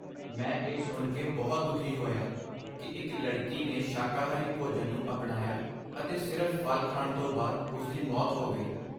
ਮੈਂ ਇਹ ਸੁਣ ਕੇ ਬਹੁਤ ਦੁਖੀ ਹੋਇਆ ਕਿ ਇੱਕ ਲੜਕੀ ਨੇ ਸ਼ਾਕਾਹਾਰੀ ਭੋਜਨ ਨੂੰ ਅਪਣਾਇਆ ਅਤੇ ਸਿਰਫ਼ ਫ਼ਲ ਖਾਣ ਤੋਂ ਬਾਅਦ ਉਸ ਦੀ ਮੌਤ ਹੋ ਗਈ।